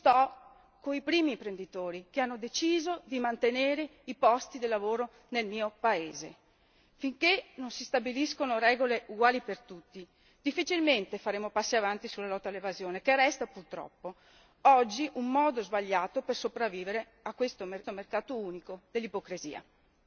Io sto coi primi imprenditori, quelli che hanno deciso di mantenere i posti di lavoro nel mio paese. Finché non si stabiliscono regole uguali per tutti, difficilmente faremo passi avanti nella lotta all'evasione, che resta purtroppo oggi un modo sbagliato per sopravvivere in questo mercato unico dell'ipocrisia.